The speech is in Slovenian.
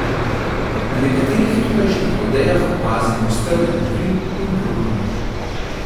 Na nekaterih tukajšnjih odejah opazim strjeno kri in bruhanje.